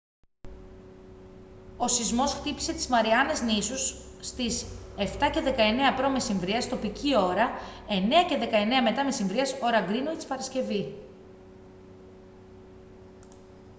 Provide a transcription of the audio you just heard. ο σεισμός χτύπησε τις μαριάνες νήσους στις 07:19 π.μ. τοπική ώρα 09:19 μ.μ. ώρα γκρίνουιτς παρασκευή